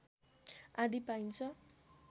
आदि पाइन्छ